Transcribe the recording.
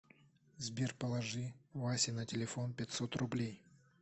сбер положи васе на телефон пятьсот рублей